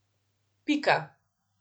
Pika.